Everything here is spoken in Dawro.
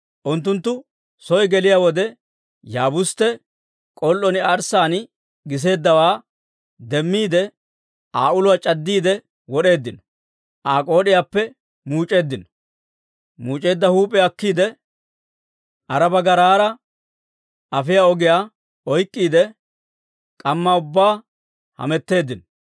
Unttunttu soy geliyaa wode, Yaabustte k'ol"on arssaan giseeddawaa demmiide, Aa uluwaa c'addiide wod'eeddino; Aa k'ood'iyaappe muuc'eeddino; muuc'eedda huup'iyaa akkiide, Aaraba garaara afiyaa ogiyaa oyk'k'iide, k'ammaa ubbaa hametteeddino.